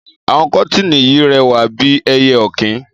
Àwon kọtìní yìí rẹwà bi ẹyẹ ọkìn